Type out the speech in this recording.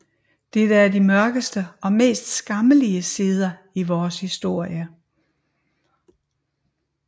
Dette er de mørkeste og mest skammelige sider i vores historie